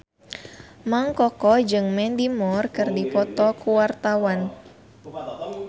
Mang Koko jeung Mandy Moore keur dipoto ku wartawan